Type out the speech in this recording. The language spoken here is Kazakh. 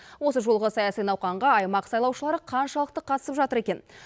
осы жолғы саяси науқанға аймақ сайлаушылары қаншалықты қатысып жатыр екен